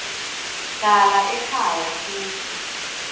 hlala ekhaya futsi